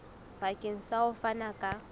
bakeng sa ho fana ka